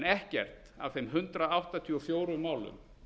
ekkert af þeim hundrað áttatíu og fjögur málum